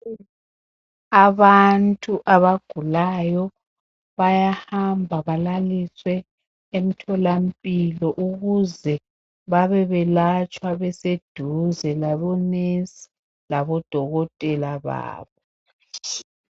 Abantu abagulayo, bayahamba balalisiwe emtholampilo ukuze babe belatshwa beseduze labo nesi labodokotela babo.